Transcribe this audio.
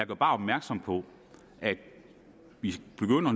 bare opmærksom på at vi